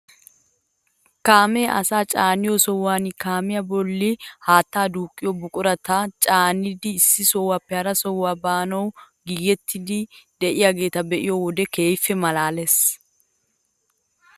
Kaamee asaacaaniyoo sohuwaan kaamiyaa bolli haattaa duuqqiyoo buqurata caanidi issi sohuwaappe hara sohuwaa baanawu giigettiidi de'iyaageta be'iyoo wode kehippe malaales!